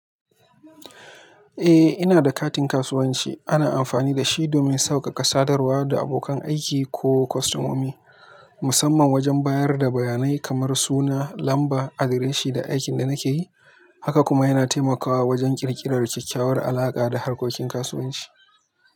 Eh, ina da katin kasuwanci. Ana amfani da shi domin sauƙaƙa sadarwa da abokan aiki ko kostomomi, musamman wajen bayar da bayanai kamar suna, lamba, adireshin da aikin da nake yi. Haka kuma yana taimakawa wajen ƙirƙirar kyakkyawar alaƙa da harkokin kasuwanci.